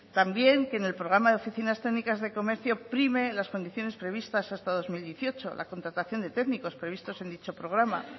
también que el programa de oficinas técnicas de comercio prime las condiciones previstas hasta el dos mil dieciocho la contratación de técnicos previstos en dicho programa